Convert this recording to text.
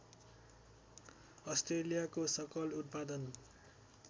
अस्ट्रेलियाको सकल उत्पादन